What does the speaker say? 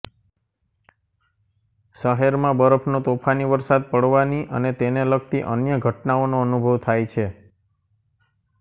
શહેરમાં બરફનો તોફાની વરસાદ પડવાની અને તેને લગતી અન્ય ઘટનાઓનો અનુભવ થાય છે